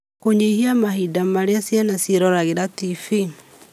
Kũnyihia mahinda marĩa ciana ciĩroragĩra TV,